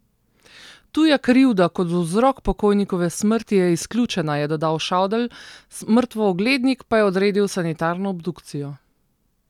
Tuja krivda kot vzrok pokojnikove smrti je izključena, je dodal Šadl, mrtvooglednik pa je odredil sanitarno obdukcijo.